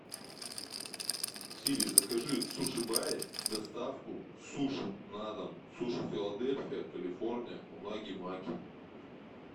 сири закажи в суши баре доставку суши на дом суши филадельфия калифорния унаги маки